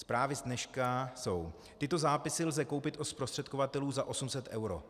Zprávy z dneška jsou: Tyto zápisy lze koupit od zprostředkovatelů za 800 eur.